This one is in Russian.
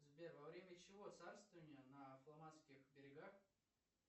сбер во время чьего царствования на фламандских берегах